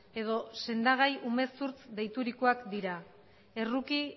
edo sendagai umezurtz deiturikoak dira erruki